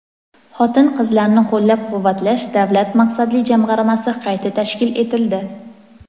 Xotin-qizlarni qo‘llab-quvvatlash davlat maqsadli jamg‘armasi qayta tashkil etildi.